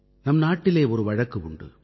நம் நாட்டிலே ஒரு வழக்கு உண்டு